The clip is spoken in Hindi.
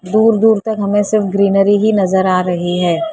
दूर दूर तक हमें सिर्फ ग्रीनरी ही नजर आ रही है।